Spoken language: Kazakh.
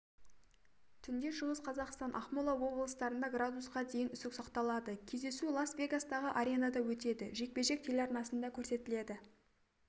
түнде шығыс қазақстан ақмола облыстарында градусқа дейін үсік сақталады кездесу лас-вегастағы аренада өтеді жекпе-жек телеарнасында көрсетіледі